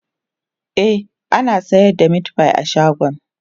e ana sayar da meatfie a shagon